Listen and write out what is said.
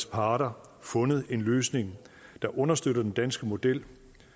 parter fundet en løsning der understøtter den danske model